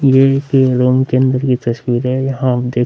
ये एक रूम के अंदर की तस्वीरे है यहाँ आप देख --